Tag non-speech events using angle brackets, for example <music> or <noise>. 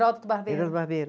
Heródoto Barbeiro. <unintelligible> Barbeiro